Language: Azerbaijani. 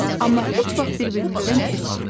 Amma heç vaxt bir-birimizdən küsmürük.